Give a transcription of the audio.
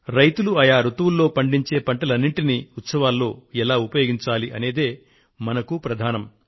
రైతులు ఆయా రుతువుల్లో పండించే పంటలన్నింటినీ ఉత్సవాలలో ఎలా ఉపయోగించాలి అనేదే మనకు ప్రధానం